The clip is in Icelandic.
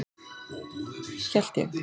Hélt ég.